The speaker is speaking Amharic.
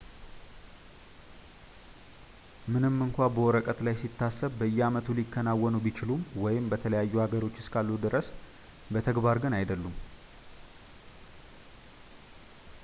ምንም እንኳን በወረቀት ላይ ሲታሰብ በየአመቱ ሊከናወኑ ቢችሉም በተለያዩ ሀገሮች እስካሉ ድረስ፣ በተግባር ግን አይደሉም